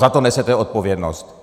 Za to nesete odpovědnost.